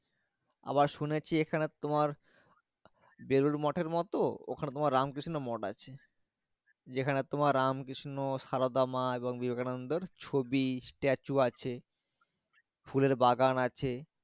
আবার শুনেছি এখানে তোমার জরুরি মোটরমতো ওখানে তোমার ওখানে তোমার রামকৃষ্ণ মট যেখানে তোমার রামকৃষ্ণ, সারদা মা আছে এবং বিবেকানন্দ ছবি স্ট্যাচু আছে ফুলের বাগান আছে।